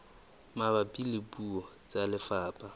mabapi le puo tsa lefapha